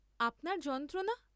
আপনার যন্ত্রণা?